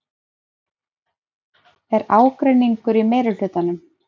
Er ágreiningur í meirihlutanum?